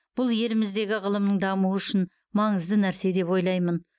бұл еліміздегі ғылымның дамуы үшін маңызды нәрсе деп ойлаймын